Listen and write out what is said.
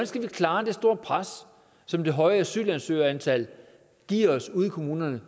skal vi klare det store pres som det høje asylansøgerantal giver os ude i kommunerne